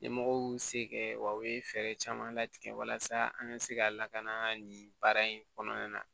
Ɲɛmɔgɔw y'u se kɛ wa u ye fɛɛrɛ caman latigɛ walasa an ka se ka lakana nin baara in kɔnɔna na